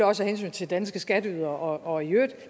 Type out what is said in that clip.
også af hensyn til danske skatteydere og i øvrigt